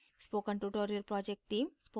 spoken tutorial project team